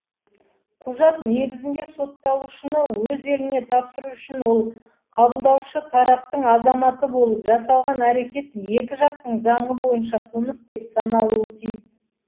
құжат негізінде сотталушыны өз еліне тапсыру үшін ол қабылдаушы тараптың азаматы болып жасалған әрекет екі жақтың заңы бойынша қылмыс деп саналуы тиіс